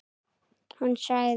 Hún sagði.